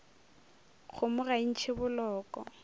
kgomo ga e ntšhe boloko